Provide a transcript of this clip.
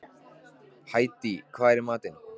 Hædý, hvað er í matinn?